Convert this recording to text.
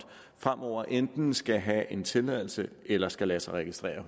fremover enten skal have en tilladelse eller skal lade sig registrere